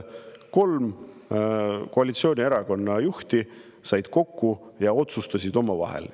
Kolm koalitsioonierakondade juhti said kokku ja otsustasid omavahel.